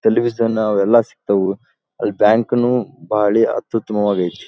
Television ಅವೆಲ್ಲ ಸಿಕ್ತಾವು ಅಲ್ಲಿ ಬ್ಯಾಂಕನು ಭಾಳಿ ಅತ್ಯುತ್ತಮವಾಗೈತಿ.